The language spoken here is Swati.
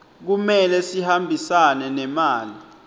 kumele sihambisane nemali